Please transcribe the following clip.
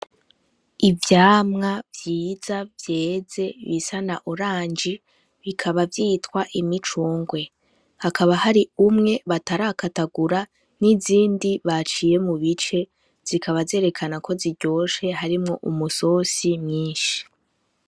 Ivyamwa vyiza vyeze bisa na oranje bikaba vyitwa imicungwe hakaba hari umwe batarakatagura n'izindi baciye mu bice zikabazerekana ko ziryoshe harimwo umusosi mwinshi.